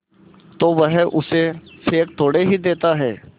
तो वह उसे फेंक थोड़े ही देता है